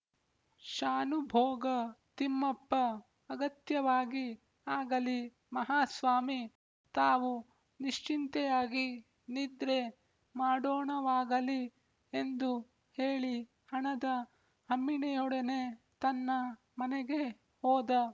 ಶಾನುಭೋಗ ತಿಮ್ಮಪ್ಪ ಅಗತ್ಯವಾಗಿ ಆಗಲಿ ಮಹಾಸ್ವಾಮಿ ತಾವು ನಿಶ್ಚಿಂತೆಯಾಗಿ ನಿದ್ರೆ ಮಾಡೋಣವಾಗಲಿ ಎಂದು ಹೇಳಿ ಹಣದ ಹಮ್ಮಿಣಿಯೊಡನೆ ತನ್ನ ಮನೆಗೆ ಹೋದ